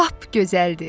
Lap gözəldir!